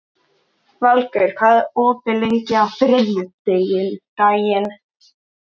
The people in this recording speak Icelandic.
Valgeir, hvað er opið lengi á þriðjudaginn?